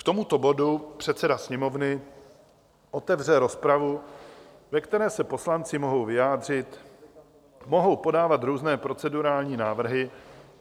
K tomuto bodu předseda Sněmovny otevře rozpravu, ve které se poslanci mohou vyjádřit, mohou podávat různé procedurální návrhy.